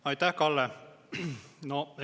Aitäh, Kalle!